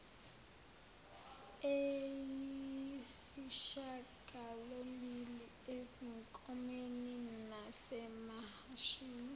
eyisishagalombili ezinkomeni nasemahashini